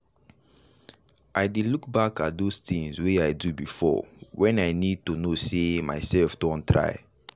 i dey look back at those tinz wey i do before when i need to know sey myself don try.